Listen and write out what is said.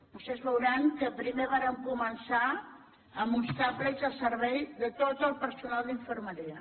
vostès veuran que primer vàrem començar amb uns tablets al servei de tot el personal d’infermeria